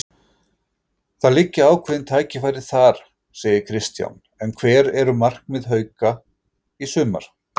Það liggja ákveðin tækifæri þar, segir Kristján en hver eru markmið Hauka í sumar?